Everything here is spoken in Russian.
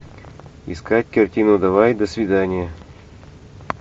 искать картину давай до свидания